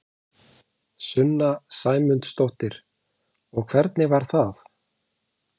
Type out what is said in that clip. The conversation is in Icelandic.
Sunna Sæmundsdóttir: Og hvernig var það?